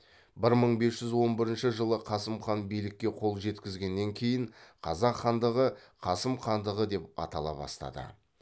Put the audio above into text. бір мың бес жүз он бірінші жылы қасым хан билікке қол жеткізгеннен кейін қазақ хандығы қасым хандығы деп атала бастады